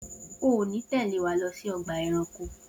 O ò ní tè̩lé wa lo̩ sí o̩gbà e̩ranko!